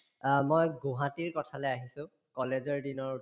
অ, মই গুহাটীৰ কথালে আহিছো college ৰ দিনৰ